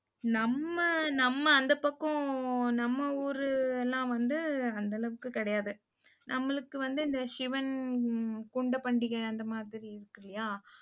நம்ம, நம்ம அந்தப் பக்கம் நம்ம ஊரு எல்லாம் வந்து அந்த அளவுக்குக் கிடையாது. நம்மளுக்கு வந்து இந்த சிவன் கொண்ட பண்டிகை அந்த மாதிரி இருக்கில்லையா